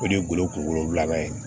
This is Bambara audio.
O de ye golo kungolo laban ye